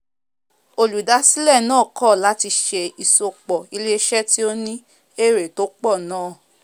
olùdásílẹ̀ náà kọ̀ láti se ìsopọ̀ ilé isẹ́ tí ó ní èrè tó pọ̀ náà